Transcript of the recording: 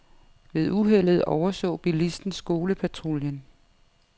Ved uheldet overså bilisten skolepatruljen.